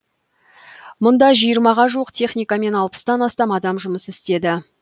мұнда жиырмаға жуық техника мен алпыстан астам адам жұмыс істеді